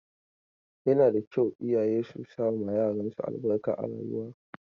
Yana da kyau iyaye su sama yaran su albarka a rayuwa.